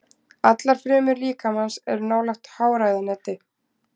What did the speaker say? Allar frumur líkamans eru nálægt háræðaneti.